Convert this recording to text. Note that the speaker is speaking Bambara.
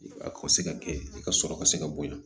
A ka se ka kɛ i ka sɔrɔ ka se ka bonya